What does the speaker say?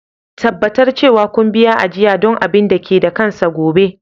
Tabbatar cewa kun biya ajiya don abin da ke da kansa gobe.